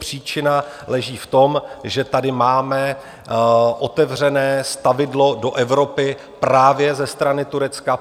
Příčina leží v tom, že tady máme otevřené stavidlo do Evropy právě ze strany Turecka.